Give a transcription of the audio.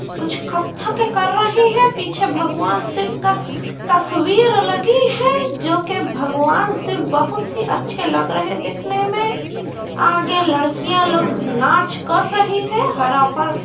कुछ कत्थक कें कर रहे हैं| पीछे भगवान शिव का तस्वीर लगी है जो कि भगवान से बहुत ही अच्छे लग रहे दिखने में | आगे लड़कियां लोग नाच कर रही है हरा फर्श--